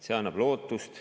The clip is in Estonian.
See annab lootust.